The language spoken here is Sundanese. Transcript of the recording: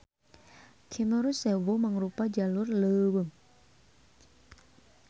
Cemoro Sewu mangrupa jalur leuweung.